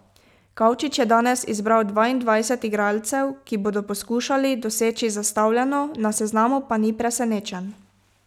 Kavčič je danes izbral dvaindvajset igralcev, ki bodo poskušali doseči zastavljeno, na seznamu pa ni presenečenj.